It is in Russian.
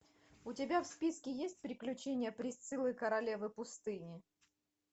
у тебя в списке есть приключения присциллы королевы пустыни